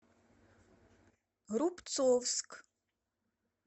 рубцовск